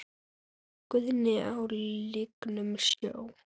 Guðni á lygnum sjó?